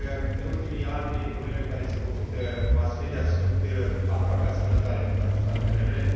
În ultimii ani, problemele cu care se confruntă mass media sunt aproape asemănătoare în toate statele membre.